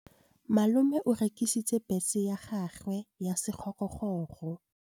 Malome o rekisitse bese ya gagwe ya sekgorokgoro.